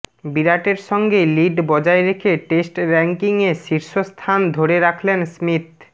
বিরাটের সঙ্গে লিড বজায় রেখে টেস্ট ব়্যাঙ্কিংয়ে শীর্ষস্থান ধরে রাখলেন স্মিথ